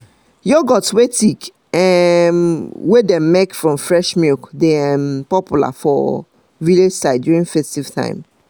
yoghurt wey thick um wey dem make from fresh milk dey um popular for um village side during festive time